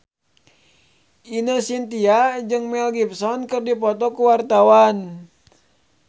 Ine Shintya jeung Mel Gibson keur dipoto ku wartawan